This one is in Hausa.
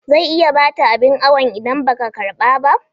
Zai iya ɓata abin awon idan ba ka karɓa ba